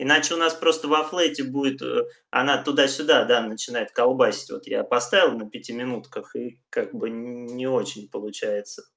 иначе у нас просто во флэте будет она туда-сюда да начинает колбасить вот я поставил на пятиминутках и как бы не очень получается